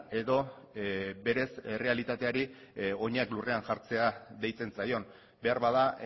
edo berez errealitateari oinak lurrean jartzea deitzen zaion beharbada